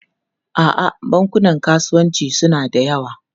A'a, bankunan kasuwanci suna da yawa.